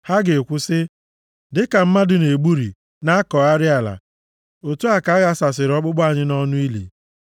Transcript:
Ha ga-ekwu sị, “Dịka mmadụ na-egburi, na-akọgharị ala, otu a ka a ghasasịrị ọkpụkpụ anyị nʼọnụ ili.”